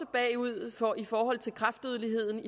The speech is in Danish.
bagud i forhold til kræftdødeligheden